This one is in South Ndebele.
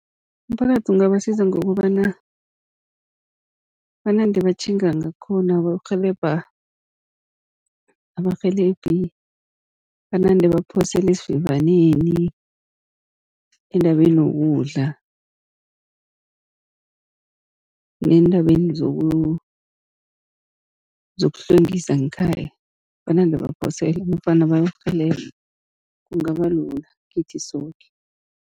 Umphakathi ungabasiza ngokobana, banande batjhinga ngakhona bayokurhelebha abarhelebhi, banande baphosela esivivaneni endabeni yokudla neendabeni zokuhlwengisa ngekhaya banande baphosela nofana bayokurhelebha kungaba lula kithi soke.